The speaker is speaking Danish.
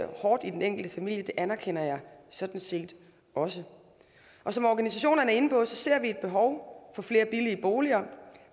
hårdt i den enkelte familie det anerkender jeg sådan set også og som organisationerne er inde på ser vi et behov for flere billige boliger